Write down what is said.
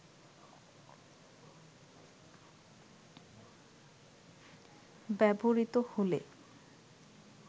ব্যবহৃত হলে